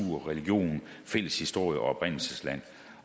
religion fælles historie og oprindelsesland